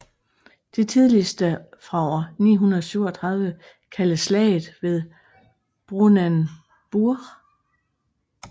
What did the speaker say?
Det tidligste fra år 937 kaldes Slaget ved Brunanburh